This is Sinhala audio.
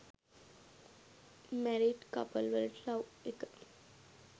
මැරීඩ් කපල් වලට ලව් එක